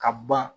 Ka ban